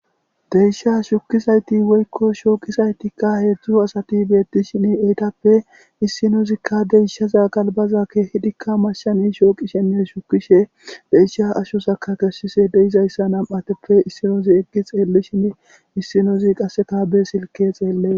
Deysha shukizayti woykko shooqisaytikka heedzdzu asati beettishine eytappe issinozikka deyishaza galbaza keehidikka mashshani shooqi shenne shukishe deyisha ashosaka kessise deizayssa nam'ateppe issinoozi eggi xeellishinne issinozi qaseka be silke xeelle